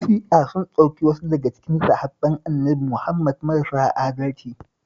Ƴan Shi'a sun ɗauki wasu daga cikin sahabban Annabi Muhammad marasa adalci